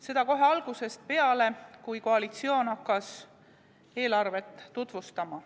Seda kohe algusest peale, kui koalitsioon hakkas eelarvet tutvustama.